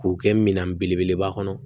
K'o kɛ minan belebeleba kɔnɔ